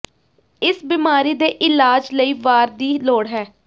ਇਸ ਬਿਮਾਰੀ ਦੇ ਇਲਾਜ ਲਈ ਵਾਰ ਦੀ ਲੋੜ ਹੈ